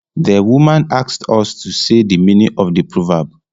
The woman asked us to say the meaning of the proverb